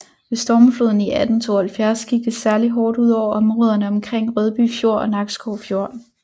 Ved stormfloden i 1872 gik det særligt hårdt ud over områderne omkring Rødby Fjord og Nakskov Fjord